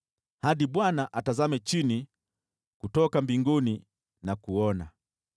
hadi Bwana atazame chini kutoka mbinguni na kuona.